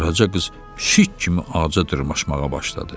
Qaraca qız pişik kimi ağaca dırmaşmağa başladı.